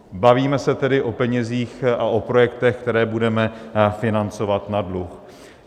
Bavíme se tedy o penězích a o projektech, které budeme financovat na dluh.